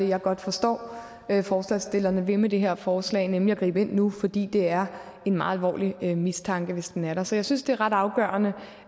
jeg godt forstår forslagsstillerne vil med det her forslag nemlig at gribe ind nu fordi det er en meget alvorlig mistanke hvis den er der så jeg synes det er ret afgørende